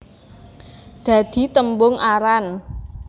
Dadi tembung aran